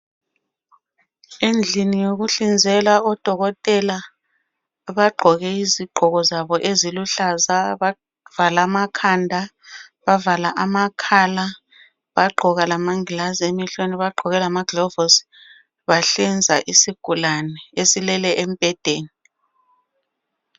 Endlini yokuhlinzela. Odokotela bagqoke izigqoko zabo eziluhlaza. Bavala amakhanda. Bavala amakhala. Bagqoka amangilazu emehlweni. Bagqoka lamaglovisi. Bahlinza isigulaneni. Esilele embhedeni.